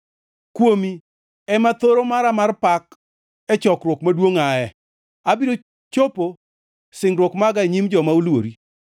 Kuomi ema thoro mara mar pak e chokruok maduongʼ aye; abiro chopo singruok maga e nyim joma oluori.